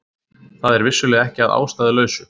Það er vissulega ekki að ástæðulausu